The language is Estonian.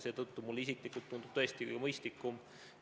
Mulle isiklikult tundub see tõesti mõistlikum.